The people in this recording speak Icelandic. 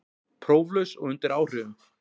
Próflaus og undir áhrifum